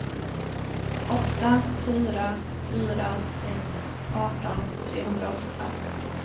åtta fyra fyra ett arton trehundraåttiofem